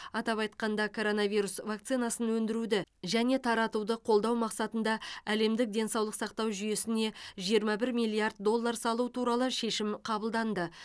атап айтқанда коронавирус вакцинасын өндіруді және таратуды қолдау мақсатында әлемдік денсаулық сақтау жүйесіне жиырма бір миллиард доллар салу туралы шешім қабылданды